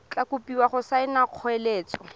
tla kopiwa go saena kgoeletso